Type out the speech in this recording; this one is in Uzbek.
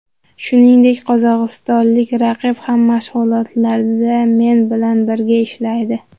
Shuningdek, qozog‘istonlik raqib ham mashg‘ulotlarda men bilan birga ishlaydi.